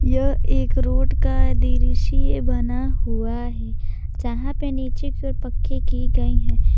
यह एक रोड का दृश्य बना हुआ है जहां पे नीचे की गई है।